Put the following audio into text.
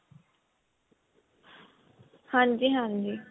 ਹਾਂਜੀ ਹਾਂਜੀ